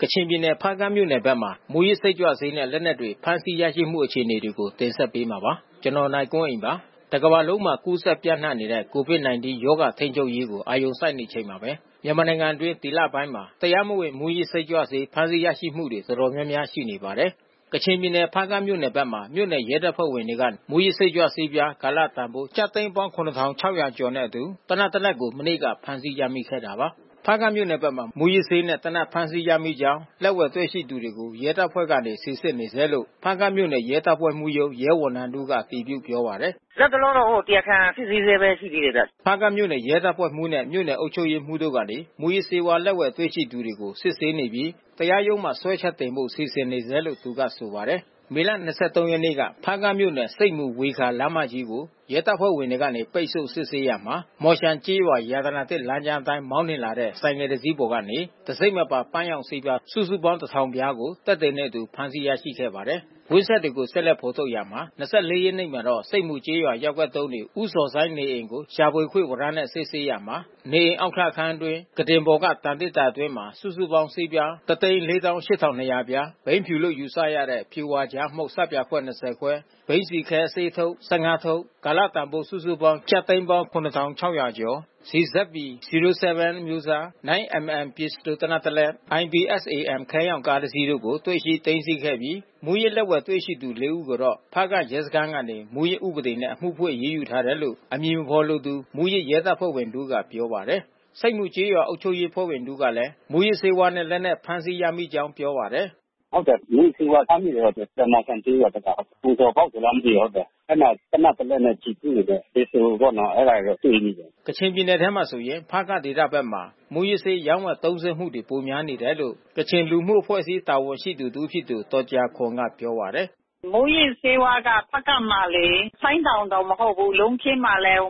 ကချင်ပြည်နယ် ဖားကန့်မြို့နယ်ဘက်မှာ မူးယစ်စိတ်ကြွဆေးနဲ့ လက်နက်တွေ ဖမ်းဆီးရရှိမှုအခြေအနေတွေကို ဗွီအိုအေမြန်မာပိုင်း သတင်းထောက် ကိုနိုင်ကွန်းအိန်က တင်ဆက်ပေးမှာပါ။ တကမ္ဘာလုံးမှာ ကူးစက် ပျံ့နှံ့နေတဲ့ COVID-19 ရောဂါထိန်းချုပ်ရေးကို အာရုံစိုက်နေချိန်မှာပဲမြန်မာနိုင်ငံအတွင်း ဒီလပိုင်းအတွင်း တရားမဝင်မူးယစ်ဆေးကြွဆေး ဖမ်းဆီးရမှုတွေ အတော်မျာများ ရှိနေပါတယ်။ ကချင်ပြည်နယ် ဖားကန့်မြို့နယ်ဘက်မှာ မြို့နယ်ရဲတပ်ဖွဲ့ဝင်တွေကနေ မူးယစ်စိတ်ကြွဆေးပြားကာလတန်ဖိုး ကျပ် သိန်းပေါင်း ၇,၆၀၀ တွေနဲ့အတူ သေနတ်တလက် မနေ့ကဖမ်းဆီးရမိခဲ့တာပါ။ ဖားကန့်မြို့နယ်ဘက်မှာ မူးယစ်ဆေးနဲ့ သေနတ်ဖမ်းဆီးရမိကြောင်းနဲ့ လက်ဝယ်တွေ့ရှိသူတွေကို ရဲတပ်ဖွဲ့ကနေ စစ်ဆေးနေဆဲလို့ ဖားကန့်မြို့နယ်ရဲတပ်ဖွဲ့မှူးရုံး ရဲဝန်ထမ်းတဦးကအတည်ပြုပြောပါတယ်။ “လတ်တလောတော့ တရားခံစစ်ဆေးဆဲပဲ ရှိသေးတယ်ဗျ။” ဖားကန့်မြို့နယ်ရဲတပ်ဖွဲ့မှူးနဲ့ မြို့နယ်အုပ်ချုပ်ရေးမှူးတို့ကနေ မူးယစ်ဆေးဝါးလက်ဝယ်တွေ့ရှိသူတွေကို စစ်ဆေးနေပြီး တရားရုံးမှာ စွဲချက်တင်ဖို့စီစဉ်နေဆဲလို့ သူကဆိုပါတယ်။ မေလ ၂၃ ရက်နေ့က ဖားကန့်မြို့နယ် ဆိပ်မူ ဝေခါ လမ်းမကြီးကို ရဲတပ်ဖွဲ့ဝင်တွေကနေ ပိတ်ဆို့ စစ်ဆေးရာမှာ မှော်ရှန်ကျေးရွာ ရတနာသစ်လမ်းကြားအတိုင်း မောင်းနှင်လာတဲ့ဆိုင်ကယ်တစီးပေါ်ကနေ တံဆိပ်မပါ ပန်းရောင် ဆေးပြား စုစုပေါင်း ၁,၀၀၀ ပြားကိုသက်သေများနှင့်အတူ ဖမ်းဆီးရရှိခဲ့ပါတယ်။ ကွင်းဆက်တွေကို ဆက်လက်ဖော်ထုတ်ရာမှာ၂၄ ရက်နေ့မှာ ဆိပ်မူကျေးရွာရပ်ကွက် ၃ နေဦးဇော်ဆိုင်း နေအိမ် ကို ရှာဖွေခွင့် ဝရမ်းနဲ့စစ်ဆေးရာမှာ နေအိမ်အောက်ထပ်အခန်းအတွင်းကုတင်ပေါ်မှသံသေတ္တာအတွင်းစုစုပေါင်း ဆေးပြား ၁၄၈,၂၀၀ ပြား၊ ဘိန်းဖြူလို့ယူဆရတဲ့ဖြူဝါကြားမှုန့် ဆပ်ပြာခွက် ၂၀ ခွက်၊ ဘိန်းဆီခဲအစေးအထုတ် ၁၅ ထုတ်၊ ကာလတန်ဖိုးစုစုပေါင်းကျပ်သိန်းပေါင်း ၇,၆၀၀ ကျော်။ CZP-07 အမျိုးအစား ၉ mm ပစ္စတိုသေနတ် တစ်လက် IPSAM ခဲရောင်ကားတစ်စီးတို့ကို တွေ့ရှိသိမ်းဆည်းပြီး မူးယစ်လက်ဝယ်တွေ့ရှိသူ ၄ ဦးကိုတော့ ဖားကန့်ရဲစခန်း ကနေ မူးယစ်ဥပဒေနဲ့ အမှုဖွင့်အရေးယူထားတယ်လို့ အမည်မဖေါ်လိုသူ မူးယစ်ရဲတပ်ဖွဲ့ဝင်တဦးကပြောပါတယ်။ ဆိပ်မူကျေးရွာအုပ်ချုပ်ရေးအဖွဲ့ဝင် တဦးကလည်း မူးယစ်ဆေးဝါးနဲ့ လက်နက်ဖမ်းဆီးရမိကြောင်းပြောပါတယ်။ “ဟုတ်တယ်။ မူးယစ်ဆေးဝါးဖမ်းမိတယ်။ မှော်ရှန်ကျေးရွာဘက်က။ ကိုဇော်ဘောက်ဆိုလားမသိဘူး။ အဲဒီမှာသေနတ် တလက်နက် ကျည်ဖူးတွေပေါ့။ ပစ္စတိုတွေပေါ့ အဲတာတွေတော့တွေ့မိတယ်။ ကချင်ပြည်နယ်ထဲမှာဆိုရင် ဖားကန့်ဒေသဘက်မှာ မူးယစ်ဆေးရောင်းဝယ်သုံးစွဲမှု ပိုများနေတယ်လို့ ကချင်လူမှုအဖွဲ့အစည်း တာဝန်ရှိသူတဦးဖြစ်တဲ့ ဒေါ်ဂျာခေါန်ကပြောပါတယ်။ “မူးယစ်ဆေးဝါးက ဖားကန့်မှာလေ ဆိုင်းတောင်တောင်မဟုတ်ဘူး လုံးခင်းမှာလည်း